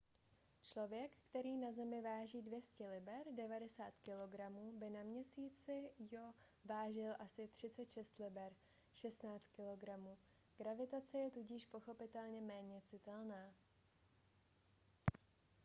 člověk který na zemi váží 200 liber 90 kg by na měsíci io vážil asi 36 liber 16 kg. gravitace je tudíž pochopitelně méně citelná